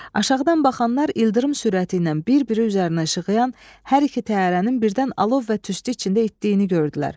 Aşağıdan baxanlar ildırım sürəti ilə bir-biri üzərinə işığıyan hər iki təyyarənin birdən alov və tüstü içində itdiyini gördülər.